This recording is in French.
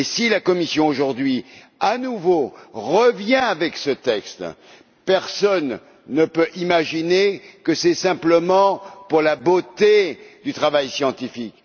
Si la Commission présente aujourd'hui à nouveau ce texte, personne ne peut imaginer que c'est simplement pour la beauté du travail scientifique